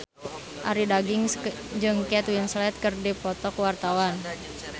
Arie Daginks jeung Kate Winslet keur dipoto ku wartawan